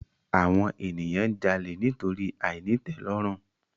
Àwon ènìyàn n jalè nítorí àìnítèlòrùn